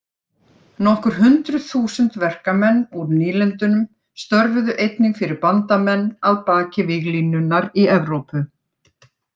Nokkur hundruð þúsund verkamenn úr nýlendunum störfuðu einnig fyrir bandamenn að baki víglínunnar í Evrópu.